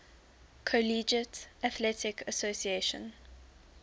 collegiate athletic association